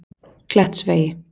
Klettsvegi